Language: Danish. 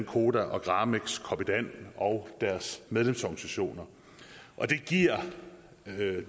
koda gramex copydan og deres medlemsorganisationer og det giver